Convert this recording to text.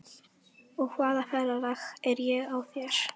Og hvaða ferðalag er á þér?